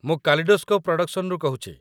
ମୁଁ କାଲିଡୋସ୍କୋପ୍ ପ୍ରଡକ୍ସନରୁ କହୁଛି ।